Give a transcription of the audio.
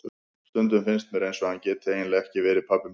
Stundum finnst mér eins og hann geti eiginlega ekki verið pabbi minn.